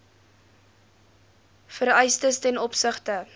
vereistes ten opsigte